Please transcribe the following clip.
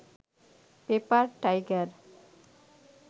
paper tiger